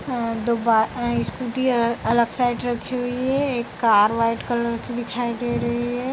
अ दो बाइ एं स्कूटी अलग साइड रखी हुई है एक कार व्हाइट कलर की दिखाई दे रही है।